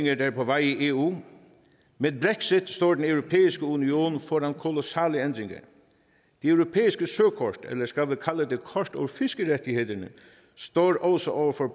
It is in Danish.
er på vej i eu med brexit står den europæiske union foran kolossale ændringer det europæiske søkort eller skal vi kalde det kort over fiskerettigheder står også over for